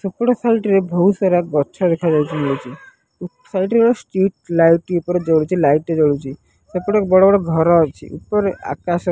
ସେପଟ ସାଇଟ୍ ରେ ଭୋଉତ୍ ସାର୍ ଗଛ ଦେଖାଯାଉଚି ଉପ୍ ସାଇଟ୍ ରେ ଗୋଟେ ଷ୍ଟ୍ରିଟ୍ ଲାଇଟ୍ ଟି ଉପରେ ଜଳୁଚି ଲାଇଟ୍ ଟେ ଜଳୁଚି ସେପଟେ ବଡ ବଡ ଘର ଅଛି ଉପରେ ଆକାଶ --